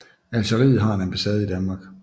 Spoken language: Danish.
Algeriet har en ambassade i Danmark